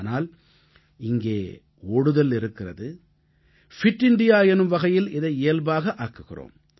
ஆனால் இங்கே ஓடுதல் இருக்கிறது ஃபிட் இண்டியா எனும் வகையில் இதை இயல்பாகவே ஆக்குகிறோம்